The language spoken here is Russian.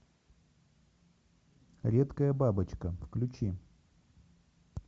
редкая бабочка включи